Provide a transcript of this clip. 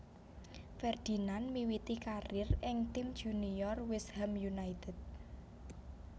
Ferdinand miwiti karier ing tim junior West Ham United